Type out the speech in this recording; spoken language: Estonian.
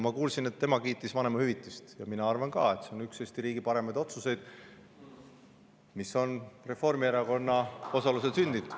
Ma kuulsin, et ta kiitis vanemahüvitist, ja mina arvan ka, et see on üks Eesti riigi parimaid otsuseid, mis on Reformierakonna osalusel sündinud.